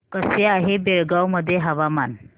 कसे आहे बेळगाव मध्ये हवामान